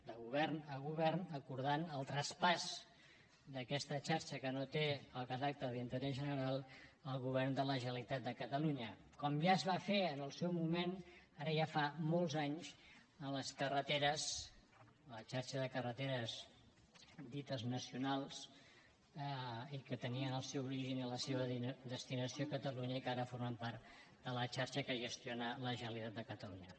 de govern a govern acordant el traspàs d’aquesta xarxa que no té el caràcter d’interès general al govern de la generalitat de catalunya com ja es va fer en el seu moment ara ja fa molts anys en les carreteres en la xarxa de carreteres dites nacionals i que tenien el seu origen i la seva destinació a catalunya que ara formen part de la xarxa que gestiona la generalitat de catalunya